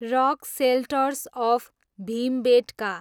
rock shelters of Bhimbetka